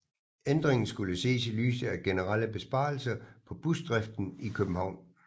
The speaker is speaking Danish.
Ændringen skulle ses i lyset af generelle besparelser på busdriften i København